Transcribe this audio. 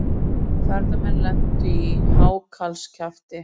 Ferðamenn lentu í hákarlskjafti